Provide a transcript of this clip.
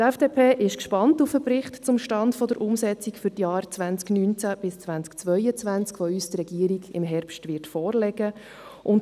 Die FDP ist gespannt auf den Bericht zum Stand der Umsetzung für die Jahre 2019–2022, den uns die Regierung im Herbst vorlegen wird.